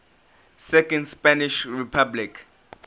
second spanish republic